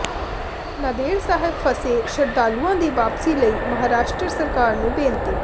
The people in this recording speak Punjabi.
ਨਾਂਦੇੜ ਸਾਹਿਬ ਫਸੇ ਸ਼ਰਧਾਲੂਆਂ ਦੀ ਵਾਪਸੀ ਲਈ ਮਹਾਰਾਸ਼ਟਰ ਸਰਕਾਰ ਨੂੰ ਬੇਨਤੀ